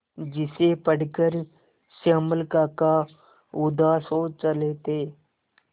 जिसे पढ़कर श्यामल काका उदास हो चले थे